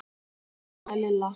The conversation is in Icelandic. stamaði Lilla.